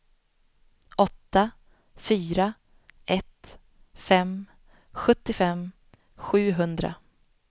åtta fyra ett fem sjuttiofem sjuhundra